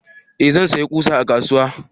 eh zan saya ƙusa a kasuwa